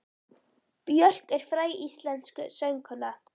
Björk er fræg íslensk söngkona.